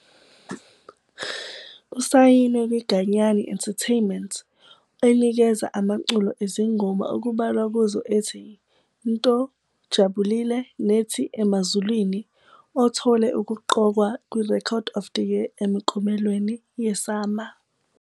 Usayinwe yiGanyani Entertainment, enikeza amaculo ezingoma okubalwa kuzo ethi "NTO", "Jabulile", nethi "Emazulwini", othole ukuqokwa kwiRecord of the Year emiklomelweni yeSAMA.